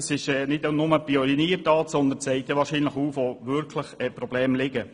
Das ist nicht nur eine Pioniertat, sondern zeigt auch auf, wo die Probleme liegen.